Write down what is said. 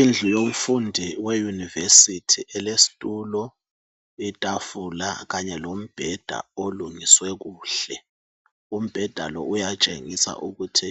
Indlu yomfundi weuniversity. Elesitulo, itafula kanye lombheda olungiswe kuhle. Umbheda lo uyatshengisa ukuthi